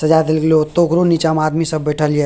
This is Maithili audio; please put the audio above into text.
सजा देल गइले होतो ओकरो नीचा मा आदमी सब बइठल हिए।